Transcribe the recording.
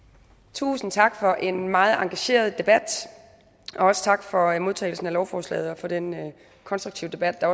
tusind tak for en meget engageret debat og også tak for modtagelsen af lovforslaget og for den konstruktive debat der